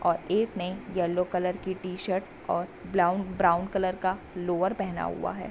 और एक नयी येलो कलर की टी-शर्ट और ब्राउन कलर का लोअर पहना हुआ है।